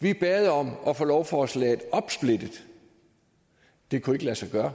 vi bad om at få lovforslaget opsplittet det kunne ikke lade sig gøre